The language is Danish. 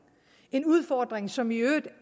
en udfordring som i øvrigt